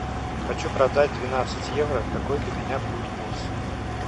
хочу продать двенадцать евро какой для меня будет курс